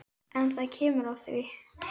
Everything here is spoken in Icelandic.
En það kemur að því.